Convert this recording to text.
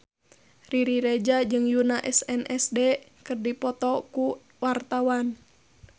Riri Reza jeung Yoona SNSD keur dipoto ku wartawan